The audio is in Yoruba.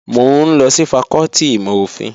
Mò ń lọ sí fakọ́tì ìmọ̀-òfin